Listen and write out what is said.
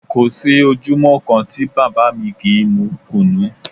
Kò sí ojúmọ́ kan tí bàbá mi kì í mú Kùnú